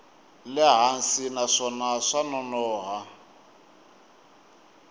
le hansi naswona swa nonoha